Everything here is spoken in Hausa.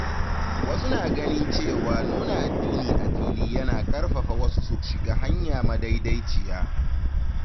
Wasu na ganin cewa nuna addini a fili yana ƙarfafa wasu su shiga hanya madaidaiciya.